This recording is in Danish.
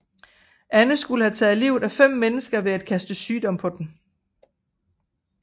Anne skulle have taget livet af fem mennesker ved at kaste sygdom på dem